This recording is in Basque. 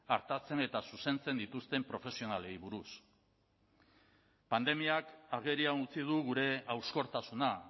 artatzen eta zuzentzen dituzten profesionalei buruz pandemiak agerian utzi du gure hauskortasuna